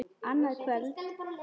Annað kvöld??